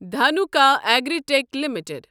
Dhanuka Agritech limited